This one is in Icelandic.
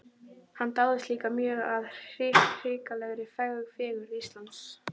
Hann dáðist líka mjög að hrikalegri fegurð Íslands.